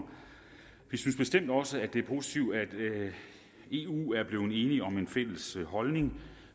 vi synes bestemt også det er positivt at eu er blevet enig om en fælles holdning